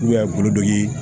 kulu dɔ ye